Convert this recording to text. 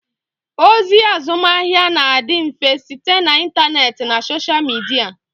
Ozi azụmahịa na-adị mfe site na intaneet na soshal midia